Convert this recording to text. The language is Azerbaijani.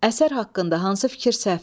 Əsər haqqında hansı fikir səhvdir?